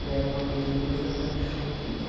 E era uma beleza quando chovia.